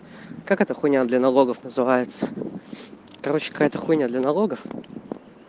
как это хуйня для налогов называется короче какая-то хуйня для налогов